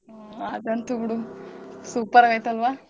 ಹ್ಮ ಅದಂತು ಬಿಡು super ಆಗೈತಲ್ವಾ.